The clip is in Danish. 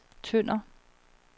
Tønder